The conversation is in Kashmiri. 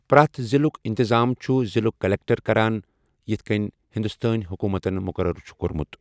پرٮ۪تھ ضِلُک انتظام چھُ ضِلُک کلکٹر کران، یتِھ کٮ۪ن ہندوستٲنۍ حکوٗمتن مُقرَر چھُ کوٚرمُت۔